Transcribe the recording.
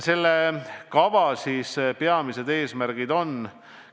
Selle kava peamised eesmärgid on järgmised.